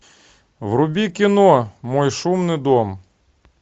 вруби кино мой шумный дом